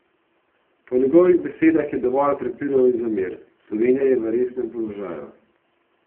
Po njegovih besedah je dovolj prepirov in zamer: "Slovenija je v resnem položaju.